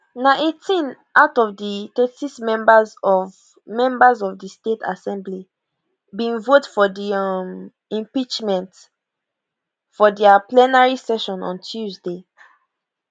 na 18 out of di 36 members of members of di state assembly bin vote for di um impeachment for dia plenary session on tuesday